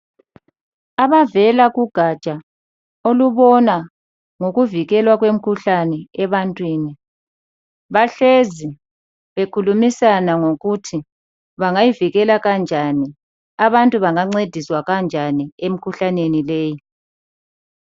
Abavela kugatsha olubona ngokuvikelwa kwemikhuhlane ebantwini bahlezi bekhulumisana ngokuthi bangayivikela kanjani, abantu bangancediswa kanjani emikhuhlaneni leyi.